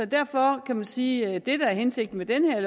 derfor kan man sige at det der er hensigten med det her